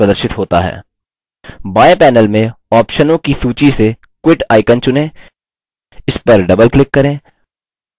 बाएँ panel में option की सूची से quit icon चुनें इसपर double click करें